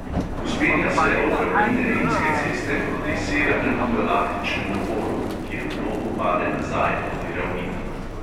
Vzpenja se od ravnine rimske ceste proti severnemu galaktičnemu polu, kjer v loku pade nazaj proti ravnini.